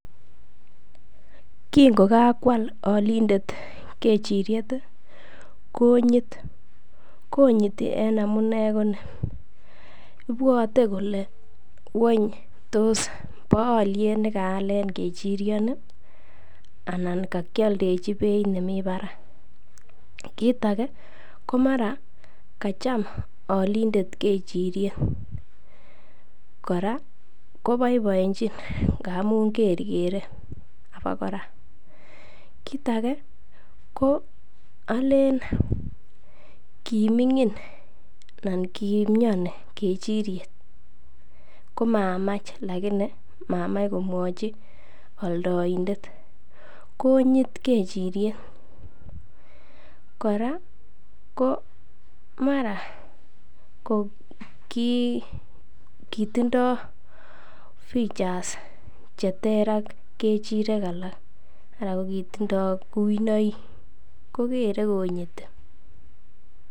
Kingo kakwal olindet kechiriet konyit. Konyiti en amune ko ni ibwote kole ngwany tos bo olyet ne kaalen kerchiryoi anan kokioldechi beit nemi barak? Kiit age komara kacham olindet kechiryet, kora koboiboenchin amun kerkere abakora. Kit age ko alen kiming'in anan ki mioni kechiryet komamach lakini mamach komwochi oldoindet konyit kechiryet. Kora ko mara ko kitindo features che ter ak kechirek alak anan ko kitindo kuinoik ko kere konyiti.